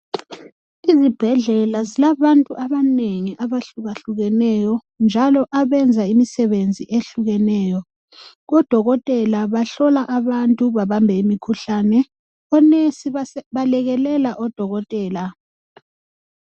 Izibhedlela zilabantu abanengi abahlukehlukeneyo njalo abenza imisebenzi ehlukeneyo .Odokotela bahlola abantu babambe imikhuhlane .Onesi belekelela odokotela .